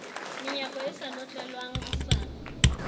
menyako e sa notlelwang hosane